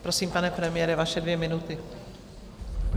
Prosím, pane premiére, vaše dvě minuty.